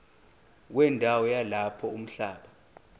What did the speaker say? wendawo yalapho umhlaba